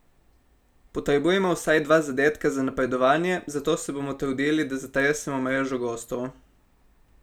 Potrebujemo vsaj dva zadetka za napredovanje, zato se bom trudili, da zatresemo mrežo gostov.